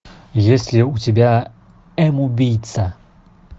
есть ли у тебя м убийца